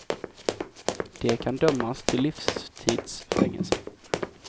De kan dömas till livstids fängelse.